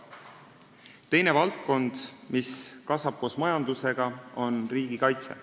Teine valdkond, mis kasvab koos majandusega, on riigikaitse.